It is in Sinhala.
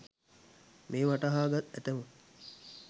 මෙය වටහා ගත් ඇතැමුන්